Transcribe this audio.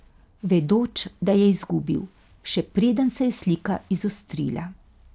Vedoč, da je izgubil, še preden se je slika izostrila.